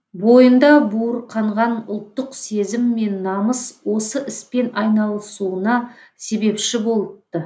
бойында буырқанған ұлттық сезім мен намыс осы іспен айналысуына себепші болыпты